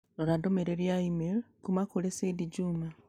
Rora ndũmĩrĩri ya e-mail kuuma kũrĩ Said Juma